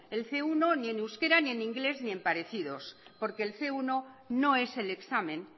el ce uno ni en euskera ni en inglés ni en parecidos porque el ce uno no es el examen